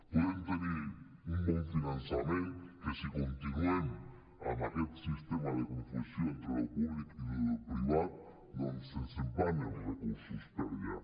podem tenir un bon finançament que si continuem amb aquest sistema de confusió entre allò públic i allò privat doncs se’ns en van els recursos per allà